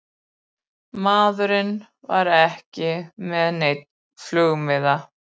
Maðurinn var ekki með neinn flugmiða